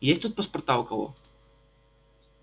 есть тут паспорта у кого